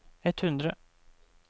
ett hundre